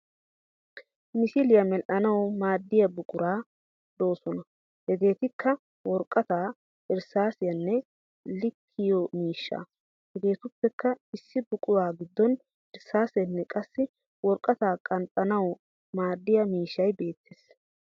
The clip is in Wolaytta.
Misiliyaa medhdhanawu maaddiya buqura doosona hegeetikka woraqataa, irssaasiyanne likkiyo miishshaa. Hegeetuppekka issi buquraa giddon irssaaseenne qassi woraqataa qanxxanawu maaddiya mishshay beettees.